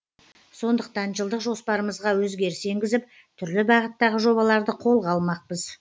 сондықтан жылдық жоспарымызға өзгеріс енгізіп түрлі бағыттағы жобаларды қолға алмақпыз